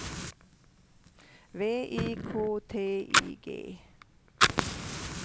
V I K T I G